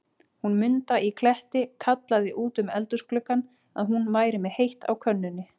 Hún Munda í Kletti kallaði út um eldhúsgluggann, að hún væri með heitt á könnunni.